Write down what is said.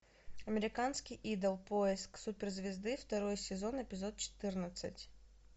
американский идол поиск суперзвезды второй сезон эпизод четырнадцать